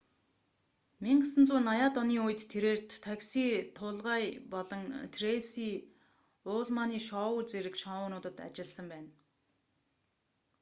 1980-аад оны үед тэрээр такси тулгая болон трэйси уллманы шоу зэрэг шоунуудад ажилласан байна